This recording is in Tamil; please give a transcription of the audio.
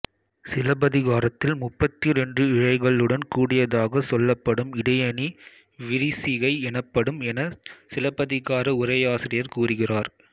சிலப்பதிகாரத்தில் முப்பத்திரண்டு இழைகளுடன் கூடியதாகச் சொல்லப்படும் இடையணி விரிசிகை எனப்படும் எனச் சிலப்பதிகார உரையாசிரியர் கூறுகிறார்